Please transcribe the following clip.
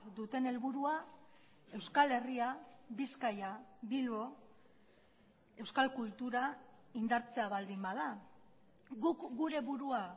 duten helburua euskal herria bizkaia bilbo euskal kultura indartzea baldin bada guk gure burua